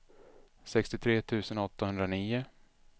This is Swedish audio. sextiotre tusen åttahundranio